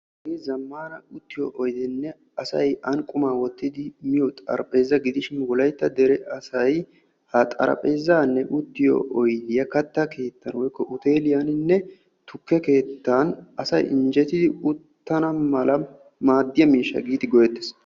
Zamaana uttiyo oyddenne asay an quma wottiddi miyooga gidishin katta keettaninne tukke keettan uttanawu maaddetees.